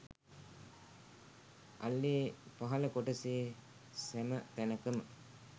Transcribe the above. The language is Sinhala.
අල්ලේ පහළ කොටසේ සැම තැනකම